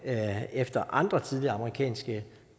efter andre tidligere amerikanske